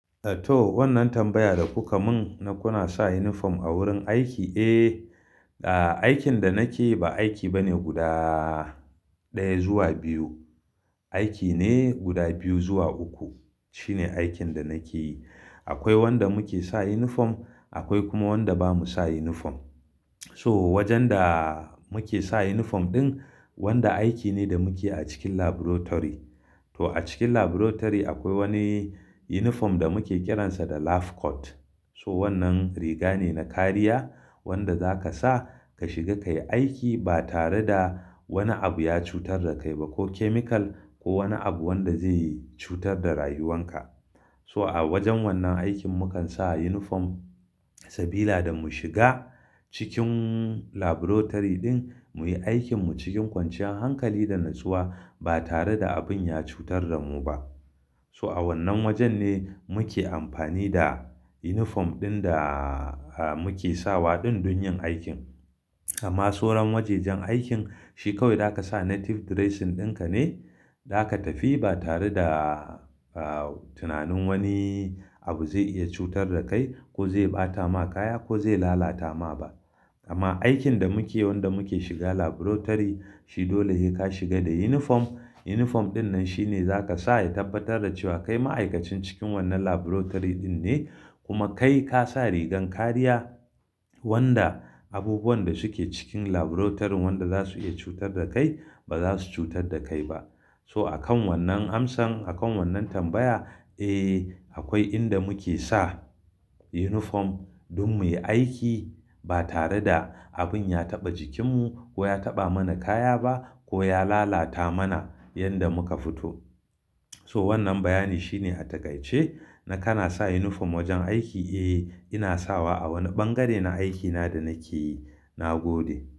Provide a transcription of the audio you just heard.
Eh to, wannan tambaya da kuka mun na kuna sa uniform a wurin aiki. Eh, ah aikin da nake yi ba aiki ba ne guda ɗaya zuwa biyu, aiki ne guda biyu zuwa uku. Shine aikin da nake yi. Akwai wanda muke sa uniform, akwai kuma wanda ba mu sa uniform. So wajen da muke sa uniform ɗin, wanda aiki ne da muke a cikin laboratory. To a cikin laboratory akwai wani uniform da muke kiransa da lab coat. So wannan riga ne na kariya wanda za ka sa ka shiga ka yi aiki ba tare da wani abu ya cutar da kai ba ko chemical ko wani abu wanda zai yi cutar da rayuwan ka. So a wajen wannan aikin mukan sa uniform sabida mu shiga cikin laboratory ɗin mu yi aikinmu cikin kwanciyar hankali da natsuwa ba tare da abin ya cutar da mu ba. So a wannan wajen ne muke amfani da uniform ɗin da muke sawa ɗin don yin aikin. Amma sauran wajajen aikin shi kawai da ka sa native dressing ɗinka ne, da ka tafi ba tare da tunanin wani abu zai iya cutar da kai ko zai ɓata ma kaya ko zai lalata ma ba. Amma aikin da muke, wanda muke shiga laboratory, shi dole sai ka shiga da uniform. Uniform ɗin nan shine za ka sa ya tabbatar da cewa kai ma'aikacin cikin wannan laboratory ɗin ne. Kuma kai ka sa rigar kariya wanda abubuwan da suke cikin laboratory wanda za su iya cutar da kai ba za su cutar da kai ba. So a kan wannan amsan, a kan wannan tambaya, eh akwai inda muke sa uniform don mu yi aiki ba tare da abin ya taɓa jikinmu ko ya taɓa mana kaya ba ko ya lalata mana yanda muka fito. So wannan bayani shine a takaice na kana sa uniform wajen aiki? Eh, ina sawa a wani ɓangare na aikina da nake yi. Na gode.